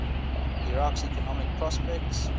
iraq's economic prospects